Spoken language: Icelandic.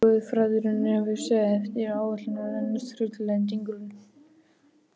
Guðfræðin virtist eftir sem áður ætla að reynast þrautalendingin.